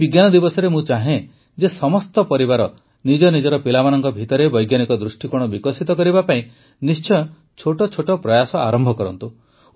ଏହି ବିଜ୍ଞାନ ଦିବସରେ ମୁଁ ଚାହେଁ ଯେ ସମସ୍ତ ପରିବାର ନିଜ ନିଜର ପିଲାମାନଙ୍କ ଭିତରେ ବୈଜ୍ଞାନିକ ଦୃଷ୍ଟିକୋଣ ବିକଶିତ କରିବା ପାଇଁ ନିଶ୍ଚୟ ଛୋଟ ଛୋଟ ପ୍ରୟାସ ଆରମ୍ଭ କରନ୍ତୁ